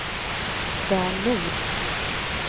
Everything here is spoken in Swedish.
Dan Nord